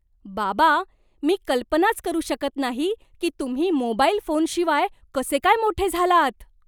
बाबा, मी कल्पनाच करू शकत नाही की तुम्ही मोबाईल फोनशिवाय कसे काय मोठे झालात?